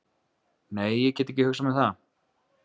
Nei, ég gæti ekki hugsað mér það.